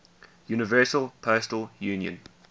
universal postal union